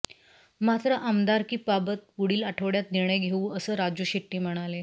मात्र आमदारकीबाबत पुढील आठवड्यात निर्णय घेऊ असं राजू शेट्टी म्हणाले